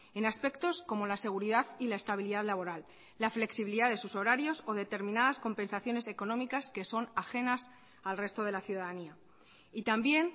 en aspectos como la seguridad y la estabilidad laboral la flexibilidad de sus horarios o determinadas compensaciones económicas que son ajenas al resto de la ciudadanía y también